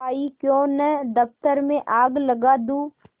आयीक्यों न दफ्तर में आग लगा दूँ